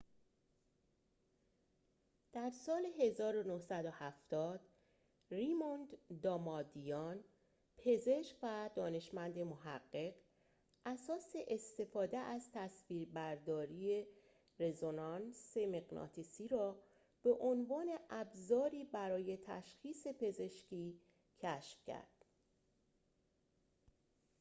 در سال ۱۹۷۰ ریموند دامادیان پزشک و دانشمند محقق اساس استفاده از تصویربرداری رزونانس مغناطیسی را به عنوان ابزاری برای تشخیص پزشکی کشف کرد